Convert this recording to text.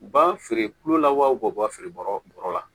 U b'a feere kulola wa feere bɔrɔ la